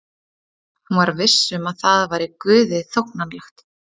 Hún var viss um að það væri Guði þóknanlegt.